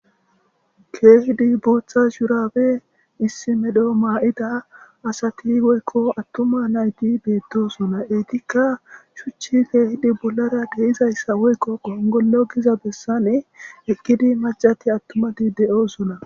keehidi booththa shuuraabe issimedho maa7ida asati woykko attuma nayti beettosona etikka shuchi keehidi bollara deizayssa woykko gongollo giza bessane ekkidi macati attumati de7oosona